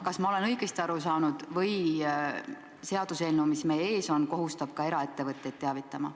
Kas ma olen õigesti aru saanud või kohustab seaduseelnõu, mis meie ees on, teavitama siiski ka eraettevõtteid?